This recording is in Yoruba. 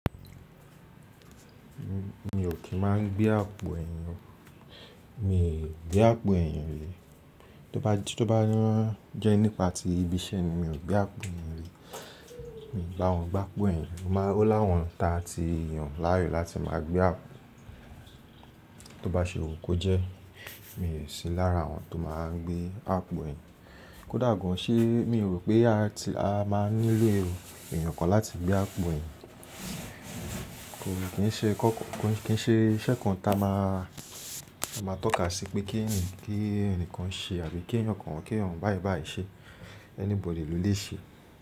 Mi ò kí má gbé àpò ẹ̀yìn o. Mi ò gbé àpò ẹ̀yàn rí. Tí ó báa jẹ́ nípa ti ibi iṣẹ́ ni, mi ò gbé àpò ẹ̀yìn rí. Mi ò ba wọn gbá àpò ẹ̀yìn. Ó láwọn ta ti yàn láàyò láti má gbé àpò. Tí ó bá ṣe wù kó jẹ́, mi ò sí lára àwọn tó má gbé àpò ẹ̀yìn. Kódà gan an ṣé mi rò pé a máa nílò èèyàn kan láti gbé àpò ẹ̀yìn. Kò kí ṣe iṣẹ́ kan ta ma má tọ́ka sí pé kí ẹnìkan ṣe àbí kí èèyàn kan wọ́n kí èèyàn báyi báyi ṣe. Anybody lo lè ṣe.